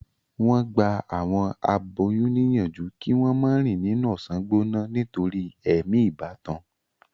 wón gbà àwọn aboyún níyànjú kí wón mo rìn nínú ọsán gbóná nítorí èmi ìbátan.